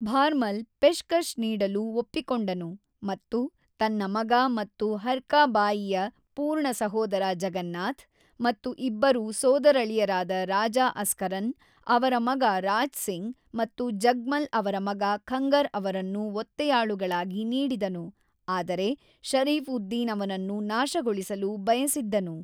ಭಾರ್‌ಮಲ್‌ 'ಪೆಶ್‌ಕಶ್‌' ನೀಡಲು ಒಪ್ಪಿಕೊಂಡನು ಮತ್ತು ತನ್ನ ಮಗ ಮತ್ತು ಹರ್ಕಾ ಬಾಯಿಯ ಪೂರ್ಣ ಸಹೋದರ ಜಗನ್ನಾಥ್, ಮತ್ತು ಇಬ್ಬರು ಸೋದರಳಿಯರಾದ ರಾಜಾ ಅಸ್ಕರನ್ ಅವರ ಮಗ ರಾಜ್ ಸಿಂಗ್ ಮತ್ತು ಜಗ್ಮಲ್ ಅವರ ಮಗ ಖಂಗರ್ ಅವರನ್ನು ಒತ್ತೆಯಾಳುಗಳಾಗಿ ನೀಡಿದನು, ಆದರೆ ಷರೀಫ್-ಉದ್-ದಿನ್ ಅವನನ್ನು ನಾಶಗೊಳಿಸಲು ಬಯಸಿದ್ದನು.